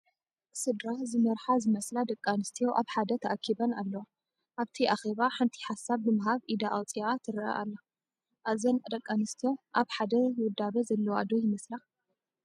ስድራ ዝመርሓ ዝመስላ ደቂ ኣንስትዮ ኣብ ሓደ ተኣኪበን ኣለዋ፡፡ ኣብቲ ኣኬባ ሓንቲ ሓሳብ ንምሃብ ኢዳ ኣውፂኣ ትርአ ኣላ፡፡ እዘን ደቂ ኣንስትዮ ኣብ ሓደ ውዳበ ዘለዋ ዶ ይመስላ?